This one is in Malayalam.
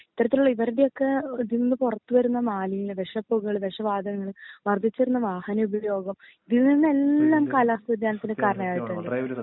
ഇത്തരത്തിലുള്ള ഇവരുടൊക്കെ ഇതിന്ന് പൊറത്ത് വരുന്ന മാലിന്യ വേശപ്പൂക്കൾ വെശവാദങ്ങൾ വർദ്ധിച്ച് വരുന്ന വാഹന ഉപയോഗം ഇതിന്നിനെല്ലാം കാലാവസ്ഥ വേദിയാനത്തിന്ന് കാരണായിട്ടിണ്ട്‌